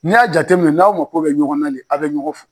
Ni'a jateminɛ n'aw ma ko bɛ ɲɔgɔn na de aw bɛ ɲɔgɔn fɔ.